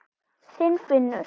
Þinn Finnur.